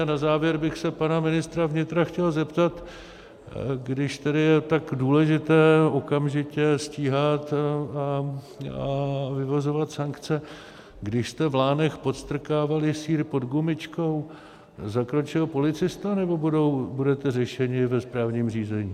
A na závěr bych se pana ministra vnitra chtěl zeptat, když tedy je tak důležité okamžitě stíhat a vyvozovat sankce: Když jste v Lánech podstrkávali sýr pod gumičkou, zakročil policista, nebo budete řešeni ve správním řízení?